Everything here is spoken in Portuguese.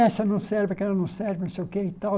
Essa não serve, aquela não serve, não sei o quê e tal.